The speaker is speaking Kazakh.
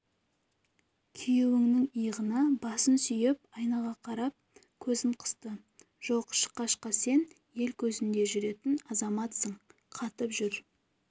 күйеуінің иығына басын сүйеп айнаға қарап көзін қысты жоқ шықашка сен ел көзінде жүретін азаматсың қатып жүр